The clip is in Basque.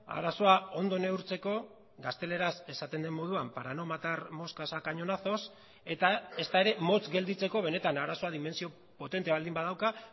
arazoa ondo neurtzeko gazteleraz esaten den moduan para no matar moscas a cañonazos eta ezta ere motz gelditzeko benetan arazoa dimentsio potente baldin badauka